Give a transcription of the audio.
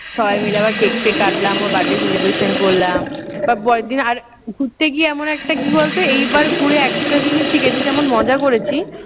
সবাই মিলে আবার কেক-ফেক কাটলাম, ওর birthday celebration করলাম। তার পরের দিন আর ঘুরতে গিয়ে এমন একটা কি বলতো এইবার ঘুরে একটা জিনিস শিখেছি। যেমন মজা করেছি